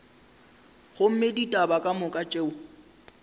gomme ditaba ka moka tšeo